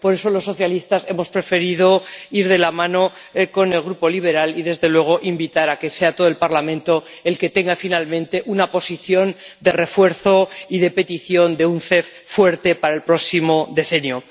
Por eso, los socialistas hemos preferido ir de la mano con el Grupo liberal y, desde luego, invitar a que sea todo el Parlamento el que tenga finalmente una posición de refuerzo y de petición de un MCE fuerte para el próximo decenio.